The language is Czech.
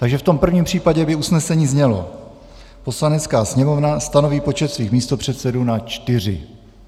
Takže v tom prvním případě by usnesení znělo: "Poslanecká sněmovna stanoví počet svých místopředsedů na čtyři."